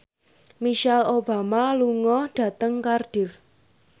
Michelle Obama lunga dhateng Cardiff